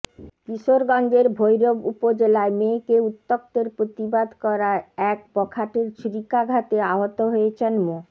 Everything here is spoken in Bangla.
কিশোরগঞ্জের ভৈরব উপজেলায় মেয়েকে উত্ত্যক্তের প্রতিবাদ করায় এক বখাটের ছুড়িকাঘাতে আহত হয়েছেন মো